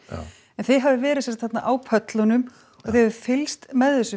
en þið hafið verið þarna á pöllunum og fylgst með þessu